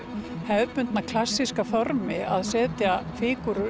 hefðbundna klassíska formi að setja fígúrur